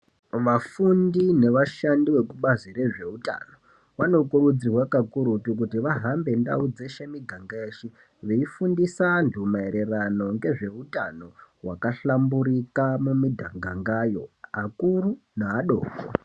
Vafundi ngevashandi vekubazi ngezveutano vanokurudzirwa kakurutu kuti vahambe ndau dzeshe miganga yeshe veifundisa antu mayererano nezveutano hwakahlamburika mumigangayo akuru neadoko.